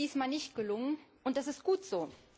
Das ist diesmal nicht gelungen und das ist gut so.